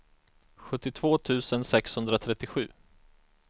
sjuttiotvå tusen sexhundratrettiosju